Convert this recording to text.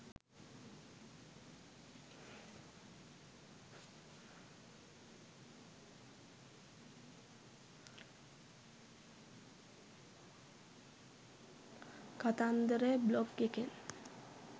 කතන්දර බ්ලොග් එකෙන්